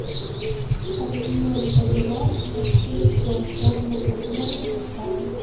обменять боливар на песо стоимость обмена какая